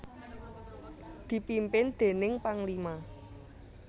dipimpin déning Panglima